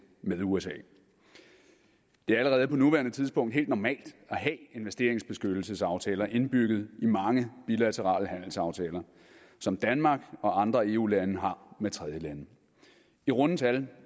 med usa det er allerede på nuværende tidspunkt helt normalt at have investeringsbeskyttelsesaftaler indbygget i mange bilaterale handelsaftaler som danmark og andre eu lande har med tredjelande i runde tal